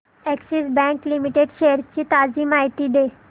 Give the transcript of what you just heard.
Axis bank limited shares ची ताजी माहिती दे